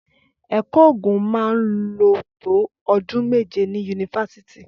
Ẹkọ ògún mà ń ló tó ọ̀dún mẹjẹ ni unífàsítì.